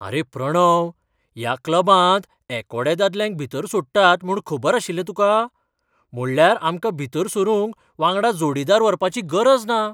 आरे प्रणव, ह्या क्लबांत एकोड्या दादल्यांक भितर सोडटात म्हूण खबर आशिल्लें तुका? म्हणल्यार आमकां भितर सरूंक वांगडा जोडीदार व्हरपाची गरज ना!